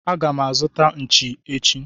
Agam azuta Nchi echi.